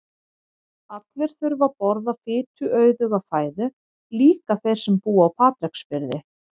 Allir þurfa að borða fituauðuga fæðu, líka þeir sem búa á Patreksfirði.